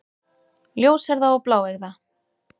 Ljóshærða og bláeygða.